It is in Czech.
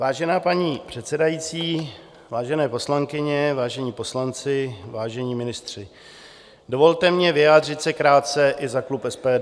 Vážená paní předsedající, vážené poslankyně, vážení poslanci, vážení ministři, dovolte mi vyjádřit se krátce i za klub SPD.